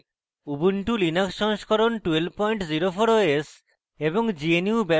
ubuntu linux সংস্করণ 1204 os এবং